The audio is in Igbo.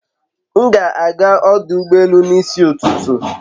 M ga ágá ọdụ ụgbọ elù n'isi ụtụtụ